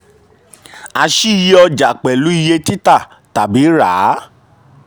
a ṣí iye ọja pẹ̀lú iye tita tàbí rà á.